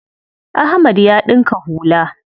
Ahmad ya ɗinka hula.